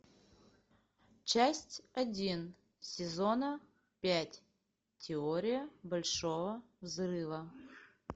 часть один сезона пять теория большого взрыва